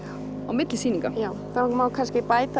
milli sýninga það má kannski bæta